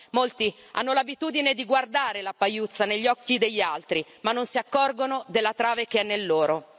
Molti hanno l'abitudine di guardare la pagliuzza negli occhi degli altri, ma non si accorgono della trave che è nei loro.